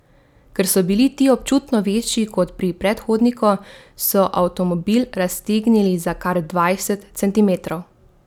Ker so bili ti občutno večji kot pri predhodniku, so avtomobil raztegnili za kar dvajset centimetrov.